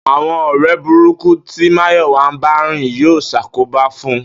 Àwo̩n ò̩ré̩ burúkú ti Máyò̩wá ń bá rìn yóò s̩àkóbá fún un